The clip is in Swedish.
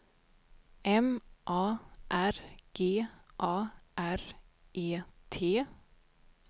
M A R G A R E T